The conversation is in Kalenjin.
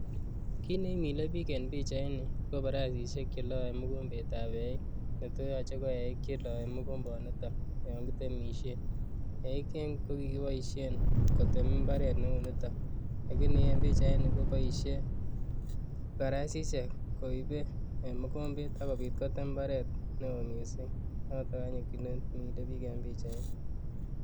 Kiit neimile biik en pichaini ko baraisishek cheloe mokombetab eiik netoyoche ko eiik cheloe mokomboniton yoon kitemishe, eiik Keny ko kikiboishen kotem imbaret neuniton lakini en pichaini koboishe baraisishek koibe mokombet ak kobit kotem imbaret neoo mising', noton anyun nemilebiik en pichaini.